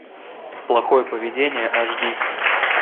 плохое поведение аш ди